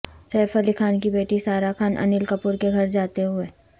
safe Ali Khan کی بیٹی سارا خان انل کپور کے گھر جاتے ہوئے